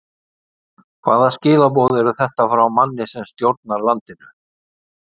Hvaða skilaboð eru þetta frá manni sem stjórnar landinu?